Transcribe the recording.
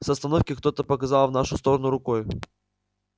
с остановки кто-то показал в нашу сторону рукой